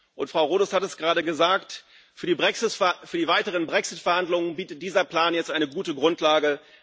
Und Frau Rodust hat es gerade gesagt für die weiteren Brexit Verhandlungen bietet dieser Plan jetzt eine gute Grundlage.